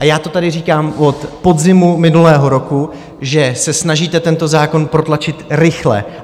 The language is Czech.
A já to tady říkám od podzimu minulého roku, že se snažíte tento zákon protlačit rychle.